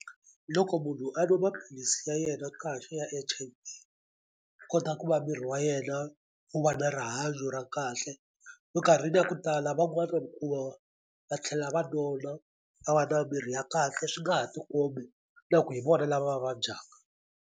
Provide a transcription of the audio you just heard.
Loko munhu a nwa maphilisi ya yena kahle ya H_I_V kota ku va miri wa yena wu va na rihanyo ra kahle minkarhini ya ku tala hikuva va tlhela va vona va va na miri ya kahle swi nga ha tikombi na ku hi vona lava vabyaka.